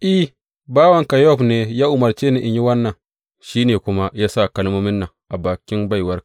I, bawanka Yowab ne ya umarce ni in yi wannan, shi ne kuma ya sa kalmomin nan a bakin baiwarka.